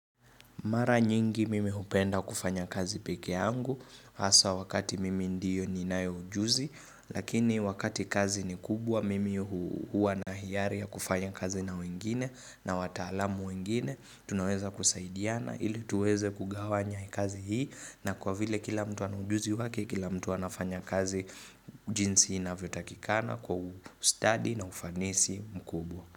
Mara nyingi mimi hupenda kufanya kazi peke yangu, hasa wakati mimi ndiyo ninae ujuzi, lakini wakati kazi ni kubwa mimi hua na hiari ya kufanya kazi na wengine na wataalamu wengine, tunaweza kusaidiana ili tuweze kugawanya kazi hii na kwa vile kila mtu ana ujuzi wake, kila mtu anafanya kazi jinsi inavyotakikana kwa ustudy na ufanisi mkubwa.